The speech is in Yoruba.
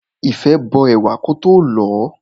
Ìfẹ́ bó ẹ̀wà kótó lọ̀ọ́.